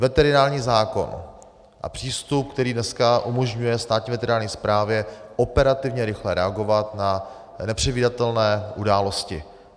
Veterinární zákon a přístup, který dneska umožňuje Státní veterinární správě operativně rychle reagovat na nepředvídatelné události.